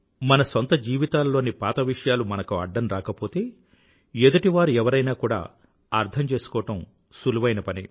మన సొంత జీవితాలలోని పాత విషయాలు మనకు అడ్డం రాకపోతే ఎదుటివారు ఎవరైనా కూడా అర్థం చేసుకోవడం సులువైన పనే